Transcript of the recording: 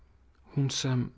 hún sem